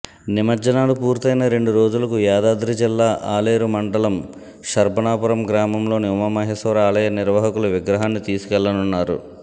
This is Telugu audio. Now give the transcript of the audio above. నిమజ్జనాలు పూర్తయిన రెండు రోజులకు యాదాద్రి జిల్లా అలేరు మండటం శర్బనాపురం గామంలోని ఉమామహేశ్వర ఆలయ నిర్వాహకులు విగ్రహాన్ని తీసుకెళ్లనున్నారు